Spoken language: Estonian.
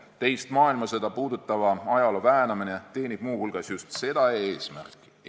Teist maailmasõda puudutava ajaloo väänamine teenib muu hulgas just seda eesmärki.